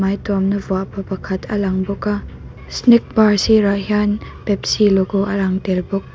hmai tuam na vuah pa pakhat a lang bawk a snack bar sirah hian pepsi logo a lang tel bawk.